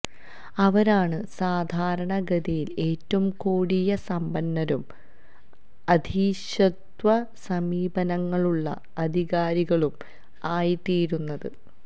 അവരാണ് സാധാരണ ഗതിയില് ഏറ്റവും കൊടിയ സമ്പന്നരും അധീശത്വ സമീപനങ്ങളുള്ള അധികാരികളും ആയിത്തീരുന്നത്